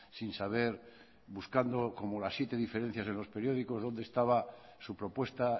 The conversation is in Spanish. sin saber buscando como las siete diferencias en los periódicos dónde estaba su propuesta